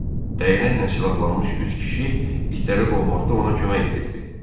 Dəyənəklə silahlanmış üç kişi itləri qovmaqda ona kömək edirdi.